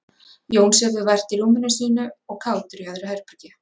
Jón sefur vært í rúminu sínu og Kátur í öðru herbergi.